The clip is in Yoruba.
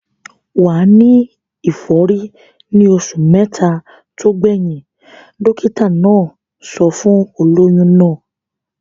Wà á ní ìfọ́rí ní oṣù mẹ́ta tó gbẹ̀yìn. Dọ́kítá náà sọ fún olóyún náà.